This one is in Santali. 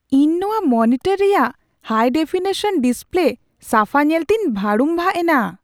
ᱤᱧ ᱱᱚᱶᱟ ᱢᱚᱱᱤᱴᱚᱨ ᱨᱮᱭᱟᱜ ᱦᱟᱭᱼᱰᱮᱯᱷᱤᱱᱤᱥᱚᱱ ᱰᱤᱥᱯᱞᱮ ᱥᱟᱯᱷᱟ ᱧᱮᱞᱛᱮᱧ ᱵᱷᱟᱹᱲᱩᱢᱵᱷᱟᱜ ᱮᱱᱟ ᱾